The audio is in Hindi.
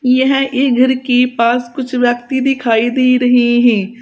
यहां ये घर के पास कुछ व्यक्ति दिखाई दे रहे हैं।